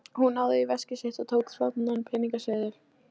Hún náði í veskið sitt og tók þaðan peningaseðil.